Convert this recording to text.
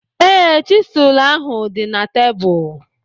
Ee, chisel ahu dị na tebụl.